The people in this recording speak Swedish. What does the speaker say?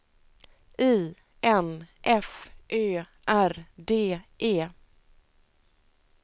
I N F Ö R D E